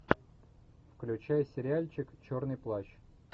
включай сериальчик черный плащ